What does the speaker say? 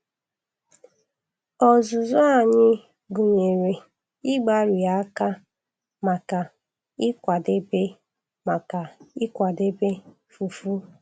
Ọzụzụ anyị gụnyere ịgbari akpa maka ịkwadebe maka ịkwadebe fufu.